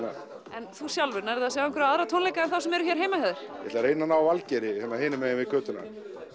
en þú sjálfur nærðu að sjá einhverja aðra tónleika en þá sem eru hér heima hjá þér ég ætla að reyna að ná Valgeiri hérna hinu megin við götuna